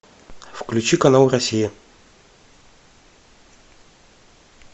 включи канал россия